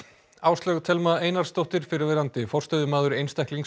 Áslaug Thelma Einarsdóttir fyrrverandi forstöðumaður